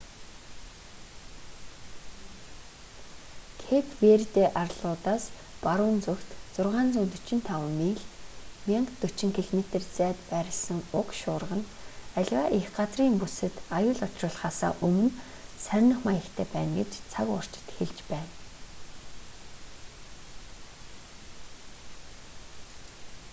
кэйп верде арлуудаас баруун зүгт 645 миль 1040 км зайд байрласан уг шуурга нь аливаа эх газрын бүсэд аюул учруулахаасаа өмнө сарних маягтай байна гэж цаг уурчид хэлж байна